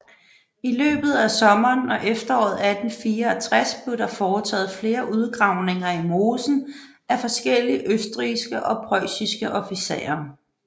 I løbet af sommeren og efteråret 1864 blev der foretaget flere udgravninger i mosen af forskellige østrigske og preussiske officerer